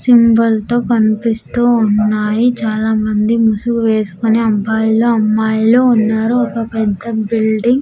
Symbol తో కనిపిస్తూ ఉన్నాయి చాలామంది ముసుగు వేసుకొని అబ్బాయిలు అమ్మాయిలు ఉన్నారు ఒక పెద్ద బిల్డింగ్ .